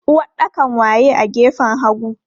Uwaɗɗakan waye a gefen hagu?